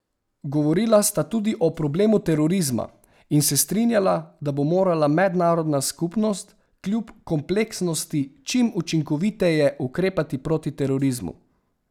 Govorila sta tudi o problemu terorizma in se strinjala, da bo morala mednarodna skupnost kljub kompleksnosti čim učinkoviteje ukrepati proti terorizmu.